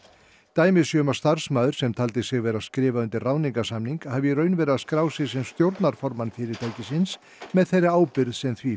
dæmi sé um að starfsmaður sem taldi sig vera að skrifa undir ráðningarsamning hafi í raun verið að skrá sig sem stjórnarformann fyrirtækisins með þeirri ábyrgð sem því